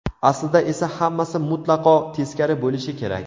Aslida esa hammasi mutlaqo teskari bo‘lishi kerak.